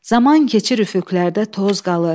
Zaman keçir üfüqlərdə toz qalır.